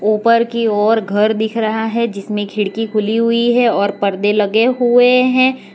ऊपर की ओर घर दिख रहा है जिसमें खिड़की खुली हुई है और परदे लगे हुए हैं।